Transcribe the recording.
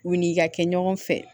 U ni ka kɛ ɲɔgɔn fɛ